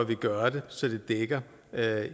vi gøre det så det dækker